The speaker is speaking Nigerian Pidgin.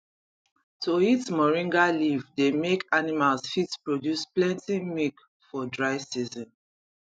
to eat moringa leave dey make animals fit produce plenty milk for dry season